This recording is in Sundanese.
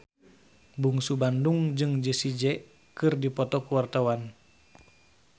Bungsu Bandung jeung Jessie J keur dipoto ku wartawan